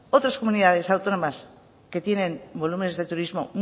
otras comunidades autónomas que tienen volúmenes de turismo